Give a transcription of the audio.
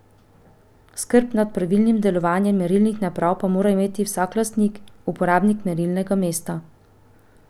Skrb nad pravilnim delovanjem merilnih naprav pa mora imeti vsak lastnik, uporabnik merilnega mesta.